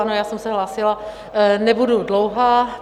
Ano, já jsem se hlásila, nebudu dlouhá.